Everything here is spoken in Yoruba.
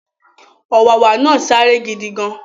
Ọ̀wàwà náà sáré gidigan